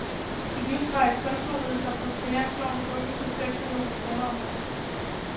De livsvarige kunstnerydelser på finansloven forøges med seks millioner kroner om året.